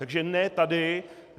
Takže ne tady.